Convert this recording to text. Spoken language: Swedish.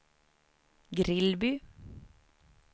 Grillby